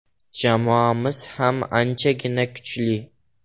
Jamoamiz ham anchagina kuchli.